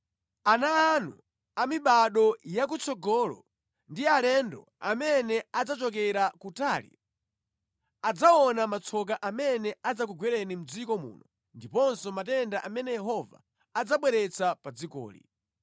Ana anu a mibado yakutsogolo ndi alendo amene adzachokera kutali adzaona matsoka amene adzakugwerani mʼdziko muno ndiponso matenda amene Yehova adzabweretsa pa dzikoli.